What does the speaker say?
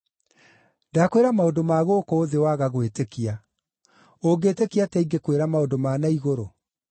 Ndakwĩra maũndũ ma gũkũ thĩ, waga gwĩtĩkia; ũngĩtĩkia atĩa ingĩkwĩra maũndũ ma na igũrũ?